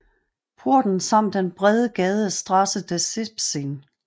Porten samt den brede gade Straße des 17